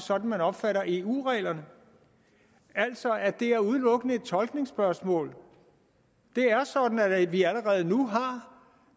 sådan man opfatter eu reglerne altså at det udelukkende er et tolkningsspørgsmål det er sådan at vi allerede nu har